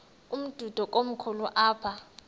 umdudo komkhulu apha